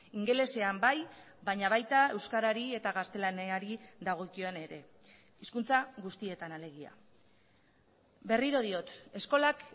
ingelesean bai baina baita euskarari eta gaztelaniari dagokion ere hizkuntza guztietan alegia berriro diot eskolak